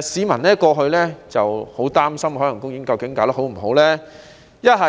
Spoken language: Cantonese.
市民過去很擔心究竟海洋公園營運得好不好，要不